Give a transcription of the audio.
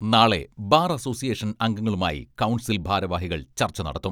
നാളെ bar association അംഗങ്ങളുമായി council ഭാരവാഹികൾ ചർച്ച നടത്തും.